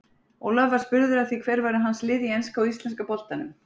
Ólafur var spurður að því hver væru hans lið í enska og íslenska boltanum.